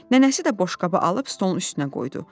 Nənəsi də boşqabı alıb stolun üstünə qoydu.